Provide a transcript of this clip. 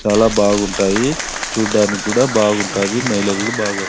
చాల బాగుంటాయి చుడానికి కూడా బాగుంటాయి మైలేజ్ కూడా బాగా --